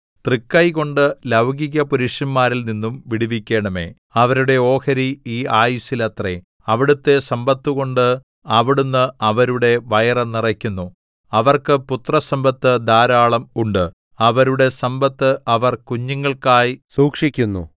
തൃക്കൈകൊണ്ട് ലൗകികപുരുഷന്മാരിൽ നിന്നും വിടുവിക്കണമേ അവരുടെ ഓഹരി ഈ ആയുസ്സിൽ അത്രേ അവിടുത്തെ സമ്പത്തുകൊണ്ട് അവിടുന്ന് അവരുടെ വയറു നിറയ്ക്കുന്നു അവർക്ക് പുത്രസമ്പത്ത് ധാരാളം ഉണ്ട് അവരുടെ സമ്പത്ത് അവർ കുഞ്ഞുങ്ങൾക്കായി സൂക്ഷിക്കുന്നു